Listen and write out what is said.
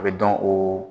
A bɛ dɔn o